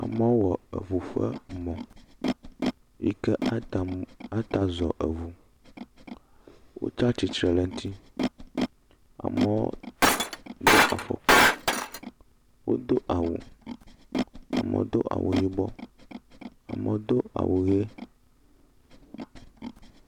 Amewo wɔ eŋu ƒe mɔ yike atam ata zɔ eŋu, wotse atsitre le eŋti. Amɔ do afɔkpa, wodo awu, amɔ do awu yibɔ, amɔ do awu ye.